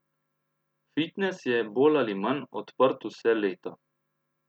Fitnes je bolj ali manj odprt vse leto.